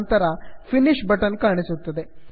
ನಂತರ finish finish button ಕಾಣುತ್ತದೆ